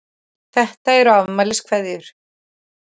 Þetta eru afmæliskveðjur.